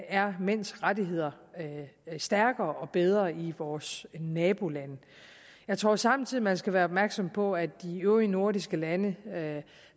er mænds rettigheder stærkere og bedre i vores nabolande jeg tror samtidig at man skal være opmærksom på at de øvrige nordiske lande